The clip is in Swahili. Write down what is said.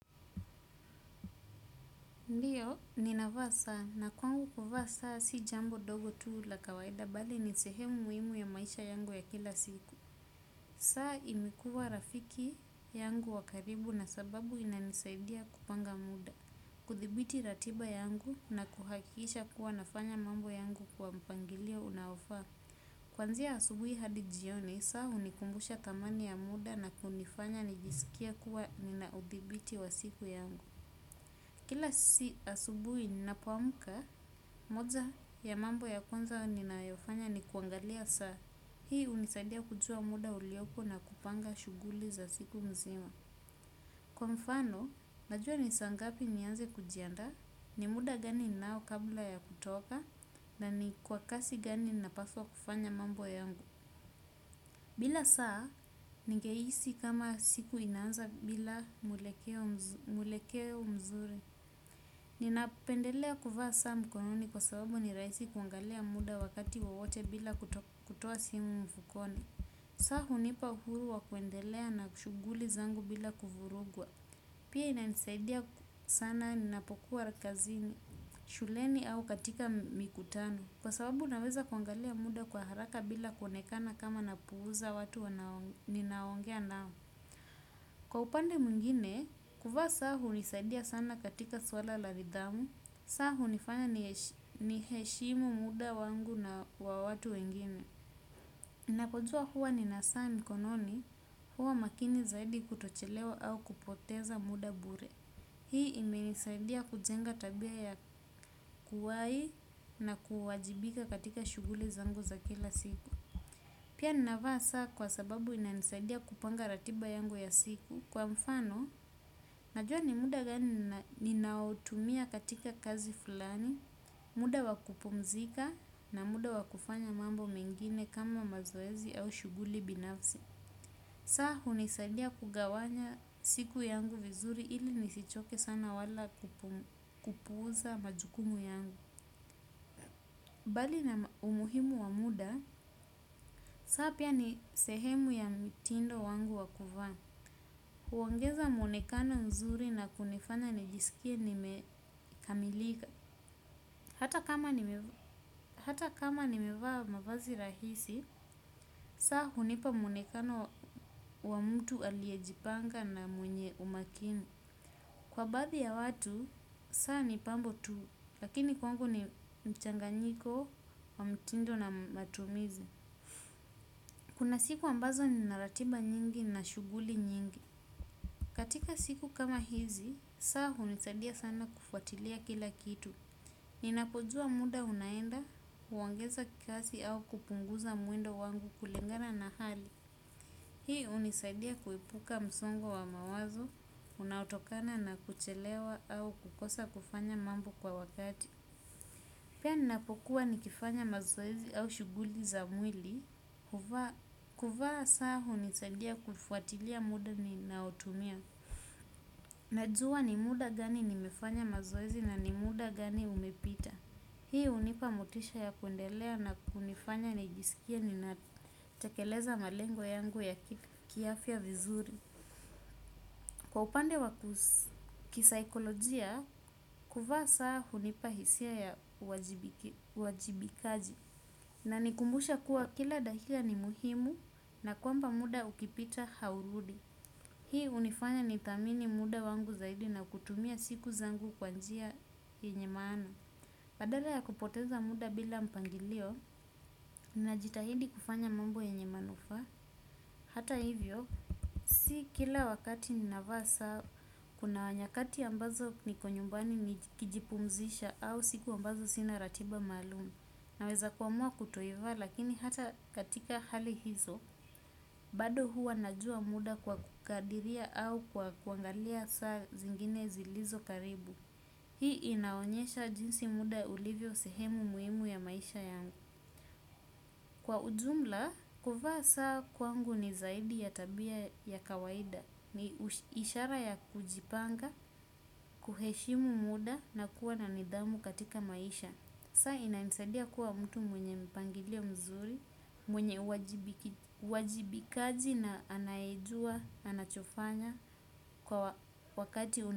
Ndiyo, ninavaa saa, na kwangu kuvaa saa si jambo dogo tuu la kawaida bali ni sehemu muimu ya maisha yangu ya kila siku. Saa imekuwa rafiki yangu wa karibu na sababu inanisaidia kupanga muda. Kuthibiti ratiba yangu na kuhakiisha kuwa nafanya mambo yangu kwa mpangilio unaofaa. Kwanzia asubui hadi jioni, saa hunikumbusha thamani ya muda na kunifanya nijisikie kuwa ninauthibiti wa siku yangu. Kila sisi asubui ninapoamuka, moja ya mambo ya kwanza ninayofanya ni kuangalia saa. Hii unisaidia kujua muda uliopo na kupanga shuguli za siku mzima. Kwa mfano, najua nisa ngapi nianze kujandaa, ni muda gani ninao kabla ya kutoka, na ni kwa kasi gani napaswa kufanya mambo yangu. Bila saa, ningehisi kama siku inaanza bila mwelekeo mzuri. Ninapendelea kuvaa saa mkononi kwa sababu ni raisi kuangalia muda wakati wowote bila kutoa simu mfukoni. Saa hunipa uhuru wa kuendelea na kushuguli zangu bila kuvurugwa. Pia ina nisaidia sana ninapokuwa kazini, shuleni au katika mikutano kwa sababu naweza kuangalia muda kwa haraka bila konekana kama napuuza watu ninaongea nao. Kwa upande mwingine, kuvaa saa hunisaidia sana katika swala la ridhamu. Saa hunifanya niheshimu muda wangu na wa watu wengine. Napo juwa huwa nina saa mkononi huwa makini zaidi kutochelewa au kupoteza muda bure. Hii ime nisaidia kujenga tabia ya kuwai na kuwajibika katika shuguli zangu za kila siku. Pia ninavaa saa kwa sababu ina nisaidia kupanga ratiba yangu ya siku. Kwa mfano, najua ni muda gani ninaotumia katika kazi fulani, muda wa kupumzika na muda wa kufanya mambo mengine kama mazoezi au shuguli binafsi. Saa hunisadia kugawanya siku yangu vizuri ili nisichoke sana wala kupuuza majukumu yangu. Bali na umuhimu wa muda, saa pia ni sehemu ya mitindo wangu wa kuvaa. Huongeza mwonekano nzuri na kunifanya nijisikia nimekamilika. Hata kama nimevaa mavazi rahisi saa hunipa mwonekano wa mutu aliejipanga na mwenye umakini. Kwa baadhi ya watu, saa ni pambo tu. Lakini kwangu ni mchanganyiko, wa mtindo na matumizi. Kuna siku ambazo nina ratiba nyingi na shuguli nyingi. Katika siku kama hizi, saa hunisadia sana kufuatilia kila kitu. Ninapojua muda unaenda, huongeza kikazi au kupunguza muendo wangu kulingana na hali. Hii hunisadia kuepuka msongo wa mawazo, unaotokana na kuchelewa au kukosa kufanya mambo kwa wakati. Pia ninapokuwa nikifanya mazoezi au shuguli za mwili, kuvaa saa hunisadia kufuatilia muda ninaotumia. Najua ni muda gani nimefanya mazoezi na ni muda gani umepita. Hii hunipa motisha ya kundelea na kunifanya ni jisikie ninatakeleza malengo yangu ya kiafya vizuri. Kwa upande wa kisaikolojia kuvaa saa hunipa hisia ya uwajibikaji inakumbusha kuwa kila dakika ni muhimu na kwamba muda ukipita haurudi hii hunifanya nithamini muda wangu zaidi na kutumia siku zangu kwa njia yenye maana. Badala ya kupoteza muda bila mpangilio, ninajitahidi kufanya mambo yenye manufaa. Hata hivyo, si kila wakati ninava saa, kuna nyakati ambazo niko nyumbani kijipumzisha au siku ambazo sina ratiba maalumu. Naweza kuamua kutoivaa lakini hata katika hali hizo, bado hua najua muda kwa kukadiria au kwa kuangalia saa zingine zilizo karibu. Hii inaonyesha jinsi muda ulivyo sehemu muimu ya maisha yangu. Kwa ujumla, kuvaa saa kwangu ni zaidi ya tabia ya kawaida, ni ishara ya kujipanga, kuheshimu muda na kuwa na nidhamu katika maisha. Saa inanisadia kuwa mtu mwenye mpangilio mzuri, mwenye uwajibikaji na anayejua, anachofanya kwa wakati.